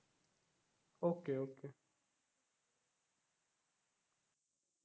okay okay